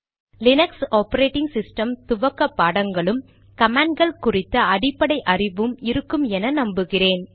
Linux operating system துவக்க பாடங்களும் command கள் குறித்த அடிப்படை அறிவும் இருக்கும் என்று நம்புகிறேன்